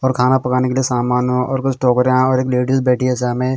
और खाना पकाने के लिए सामान और कुछ टोकरियाँ हैं और एक लेडीज बैठी हैं सामें--